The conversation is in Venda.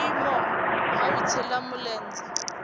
vhuimo ha u shela mulenzhe